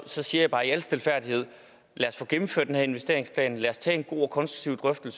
siger jeg bare i al stilfærdighed lad os få gennemført den her investeringsplan lad os tage en god og konstruktiv